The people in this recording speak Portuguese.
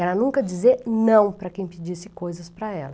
Era nunca dizer não para quem pedisse coisas para ela.